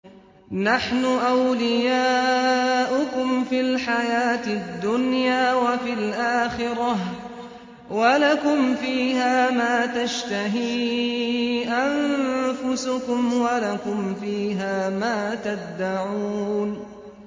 نَحْنُ أَوْلِيَاؤُكُمْ فِي الْحَيَاةِ الدُّنْيَا وَفِي الْآخِرَةِ ۖ وَلَكُمْ فِيهَا مَا تَشْتَهِي أَنفُسُكُمْ وَلَكُمْ فِيهَا مَا تَدَّعُونَ